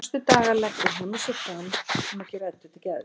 Næstu daga leggur Hemmi sig fram um að gera Eddu til geðs.